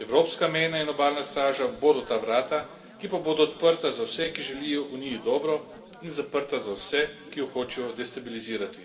Evropska mejna in obalna straža bodo ta vrata, ki pa bodo odprta za vse, ki želijo Uniji dobro in zaprta za vse, ki jo hočejo destabilizirati.